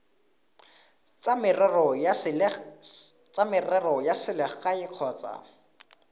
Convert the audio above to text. tsa merero ya selegae kgotsa